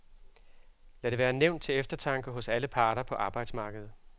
Lad det være nævnt til eftertanke hos alle parter på arbejdsmarkedet.